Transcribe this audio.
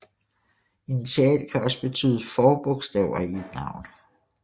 Initial kan også betyde forbogstaver i et navn